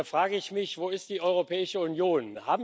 Und da frage ich mich Wo ist die Europäische Union?